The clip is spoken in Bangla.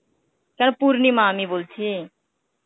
পূর্নিমা আমি বলছি.